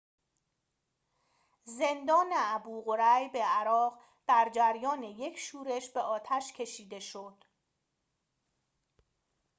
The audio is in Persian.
زندان ابوغریب عراق در جریان یک شورش به آتش کشیده شد